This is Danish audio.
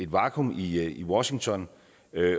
vakuum i i washington